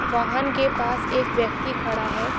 वाहन के पास एक व्यक्ति खड़ा है।